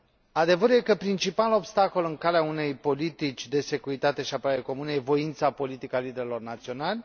Adevărul este că principalul obstacol în calea unei politici de securitate și apărare comune este voința politică a liderilor naționali.